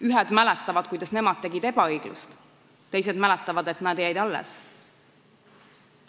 Ühed mäletavad, kuidas nemad põhjustasid ebaõiglust, teised mäletavad, et nad jäid alles.